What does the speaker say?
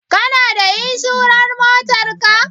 Kana da inshurar Motar ka?